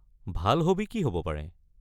ভাল হ'বী কি হ'ব পাৰে?